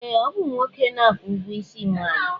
Ee, ọ bụ nwoke na-akwụ ụgwọisi nwaanyị